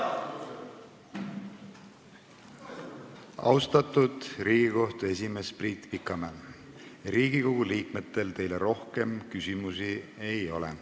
Austatud Riigikohtu esimees Priit Pikamäe, Riigikogu liikmetel teile rohkem küsimusi ei ole.